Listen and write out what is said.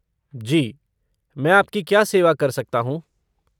जी, मैं आपकी क्या सेवा कर सकता हूँ?